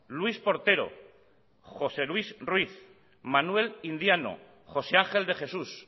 luis portero josé luis ruiz manuel indiano josé ángel de jesús